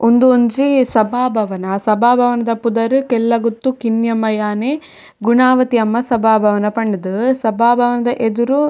ಉಂದು ಒಂಜಿ ಸಭಾಭವನ ಸಭಾಭವನ ದ ಪುದರ್ ಕೆಲ್ಲಗುತ್ತು ಕಿನ್ನಮ್ಮ ಯಾಣೆ ಗುಣಾವತಿ ಅಮ್ಮ ಸಭಾಭವನ ಪಂಡ್ ದ್ ಸಭಾಭವನದ ಎದುರು--